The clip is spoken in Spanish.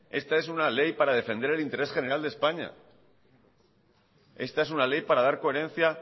esta es una ley para defender el interés general de españa esta es una ley para dar coherencia